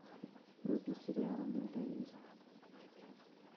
вруби сериал менталист